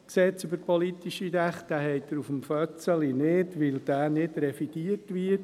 Diesen finden Sie nicht auf der Fahne, weil er nicht revidiert wird.